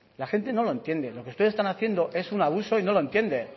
la gente no lo entiende lo que ustedes están haciendo es un abuso y no lo entienden